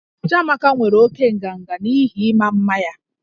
Chiamaka nwere oke nganga n'ihi ịma mma ya